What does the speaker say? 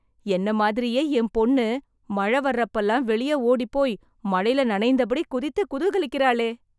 என்னை மாதிரியே, என் பொண்ணு மழை வர்றப்போலாம் வெளியே ஓடிப் போய் மழையில் நனைந்தபடி, குதித்து, குதூகலிக்கறாளே...